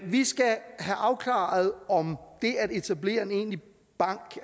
vi skal have afklaret om det at etablere en egentlig bank